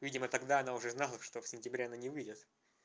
видимо тогда она уже знала что в сентябре она не выйдет